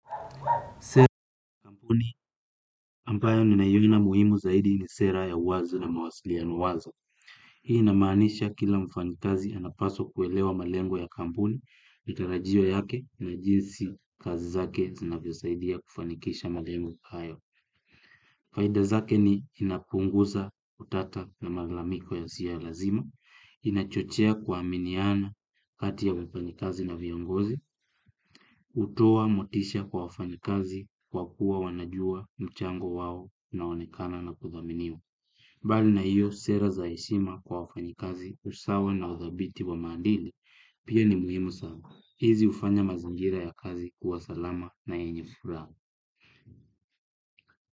Sera kampuni, ambayo ninaiona muhimu zaidi ni sera ya uwazi na mawasilino wazo. Hii inamaanisha kila mfanhikazi anapaswa kuelewa malengo ya kampuni, mitarajio yake na jinsi kazi zake zinavyo saidia kufanikisha malengo hayo. Faida zake ni inapunguza kutata na malalamiko yasiyo ya lazima, inachochea kuaminiana kati ya mfanyikazi na viongozi, hutoa motisha kwa wafanyikazi kwa kuwa wanajua mchango wao, unaonekana na kudhaminiwa. Mbali na hiyo sera za heshima kwa wafanyikazi usawa na uthabiti wa maadili. Pia ni muhimu sana. Hizi hufanya mazingira ya kazi kuwa salama na yenye furaa.